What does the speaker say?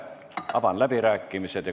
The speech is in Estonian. Avan läbirääkimised.